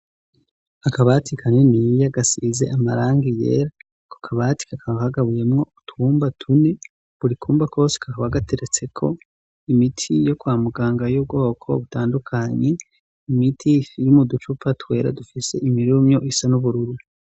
Akabati kaniniya gasize amarangi yera. Ako kabati kakaba kagabuyemwo utwumba tune. Buri kumba kose kakaba gateretseko imiti yo kwa muganga y'ubwoko butandukanye. Imiti iri mu ducupa twera dufise imirumyo isa n'ubururu.